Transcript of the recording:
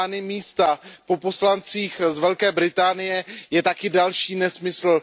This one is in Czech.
místa po poslancích z Velké Británie, je taky další nesmysl.